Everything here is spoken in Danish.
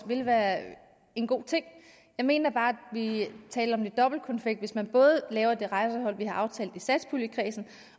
vil være en god ting jeg mener bare at vi taler om dobbeltkonfekt hvis man både laver det rejsehold vi har aftalt i satspuljekredsen